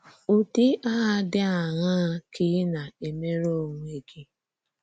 Ụ́dị Àhà Dị Àṅaa Ka Ị̀ Na-èmèrè Onwè Gị?